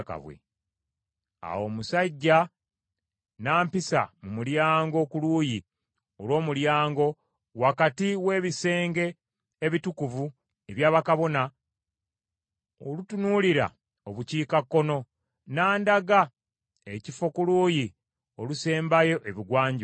Awo omusajja n’ampisa mu mulyango ku luuyi olw’omulyango wakati w’ebisenge ebitukuvu ebya bakabona olutunuulira Obukiikakkono, n’andaga ekifo ku luuyi olusembayo Ebugwanjuba.